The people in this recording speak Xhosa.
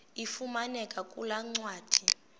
ifumaneka kule ncwadi